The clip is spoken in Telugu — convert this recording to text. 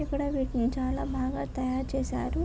ఇక్కడ వీటిని చాల బాగా తయారు చేసారు.